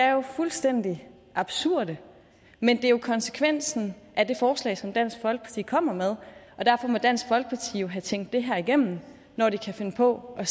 jo fuldstændig absurde men det er jo konsekvensen af det forslag som dansk folkeparti kommer med og derfor må dansk folkeparti jo have tænkt det her igennem når de kan finde på at